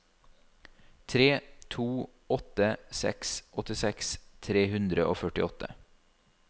tre to åtte seks åttiseks tre hundre og førtiåtte